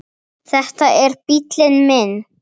Þetta er bíllinn minn